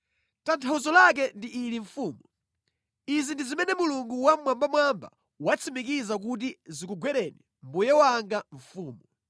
“Tanthauzo lake ndi ili mfumu, izi ndi zimene Mulungu Wammwambamwamba watsimikiza kuti zikugwereni mbuye wanga mfumu: